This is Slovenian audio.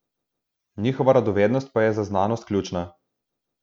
Njihova radovednost pa je za znanost ključna.